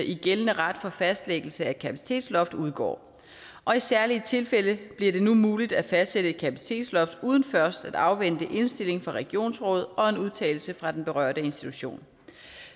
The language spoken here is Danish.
i gældende ret for fastlæggelse af kapacitetsloft udgår og i særlige tilfælde bliver det nu muligt at fastsætte et kapacitetsloft uden først at afvente indstillingen fra regionsrådet og en udtalelse fra den berørte institution